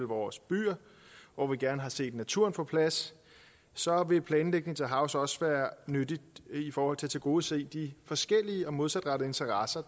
vores byer hvor vi gerne har set naturen få plads så vil planlægning til havs også være nyttigt i forhold til at tilgodese de forskellige og modsatrettede interesser